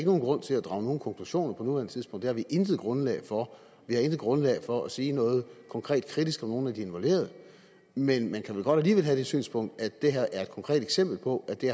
nogen grund til at drage nogen konklusioner på nuværende tidspunkt for det har vi intet grundlag for vi har intet grundlag for at sige noget konkret kritisk om nogen af de involverede men man kan vel godt alligevel have det synspunkt at det her er et konkret eksempel på at det